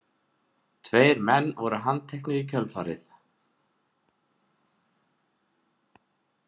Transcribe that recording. Tveir menn voru handteknir í kjölfarið